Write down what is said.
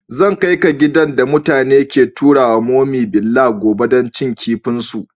Zan kai ka gidan da mutane ke taruwa mummy's villa gobe dan cin kifin su.